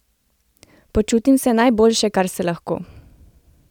Počutim se najboljše, kar se lahko!